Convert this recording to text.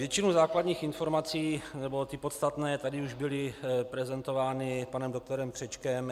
Většina základních informací, nebo ty podstatné tady už byly prezentovány panem doktorem Křečkem.